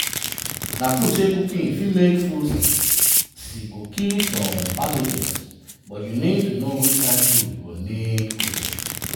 na true say cooking fit make food safer as e go kill some pathogens but you need to know which kain fruits go need cooking.